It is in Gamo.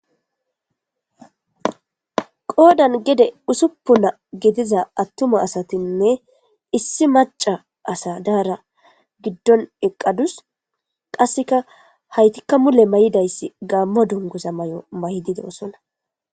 Goodan gede usuppuna gediza attuma asatinne issi maca asa daara giddon eqqadus qasseka haytikka mule may'idayssi gaammo dunguza may'o may' dide osona.